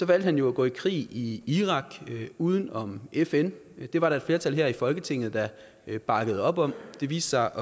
valgte han jo at gå i krig i irak uden om fn og det var der et flertal her i folketinget der bakkede op om det viste